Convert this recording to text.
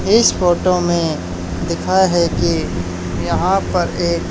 इस फोटो में दिखा है कि यहां पर एक--